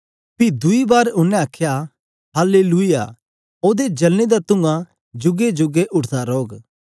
पी दुई बार उनै आखया हल्लेलुयाह ओदे जलने दा तुंआ जूगे जूगे उठदा रोह्ग